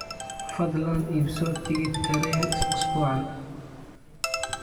fadlan iibso tigidh tareen usbuucan